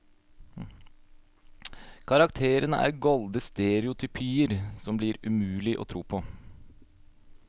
Karakterene er golde stereotypier som det blir umulig å tro på.